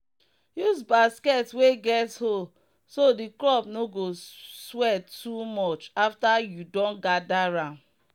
use basket wey get hole so the crop no go sweat too much after you don gather am.